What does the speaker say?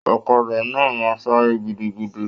Ọ̀kàdà náà máa n sáré gidigidi.